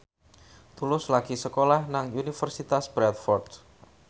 Tulus lagi sekolah nang Universitas Bradford